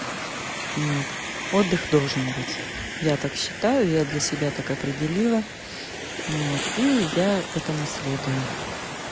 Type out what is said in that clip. вот отдых должен быть я так считаю я для себя так определила ну вот и я этому следую